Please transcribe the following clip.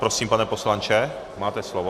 Prosím, pane poslanče, máte slovo.